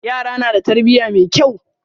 Yaran na da tarbiya mai kyau.